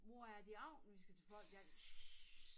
Mor er det i aften vi skal til folkedans schy